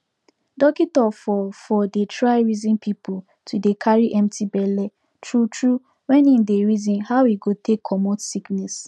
dockitor for for dey try reason people to dey carry empty belle true true wen him dey reason how e go take comot sickness